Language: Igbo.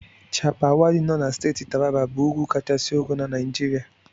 Chappal Waddi nọ na Steeti Taraba bụ ugwu kachisi ogo na Naijiria.